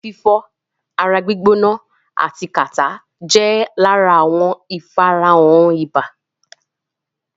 Orí fífọ́, ara gbîgbóná ati kàtá jẹ́ lára àwọn ìfarahàn ibà.